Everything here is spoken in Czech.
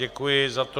Děkuji za to.